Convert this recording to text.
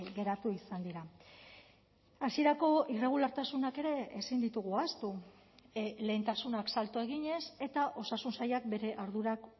geratu izan dira hasierako irregulartasunak ere ezin ditugu ahaztu lehentasunak salto eginez eta osasun sailak bere ardurak